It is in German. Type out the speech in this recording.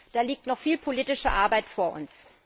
Da liegt noch viel politische Arbeit vor uns!